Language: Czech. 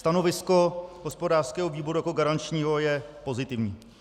Stanovisko hospodářského výboru jako garančního je pozitivní.